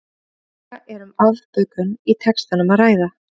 Hugsanlega er um afbökun í textanum að ræða.